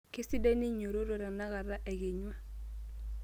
Keisidai ninyototo tenakata, ekenyua.